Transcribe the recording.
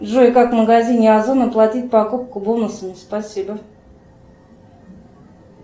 джой как в магазине озон оплатить покупку бонусами спасибо